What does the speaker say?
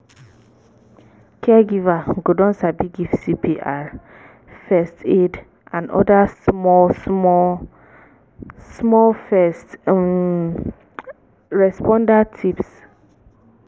caregiver go don sabi give cpr first aid and oda small small small first um responder tips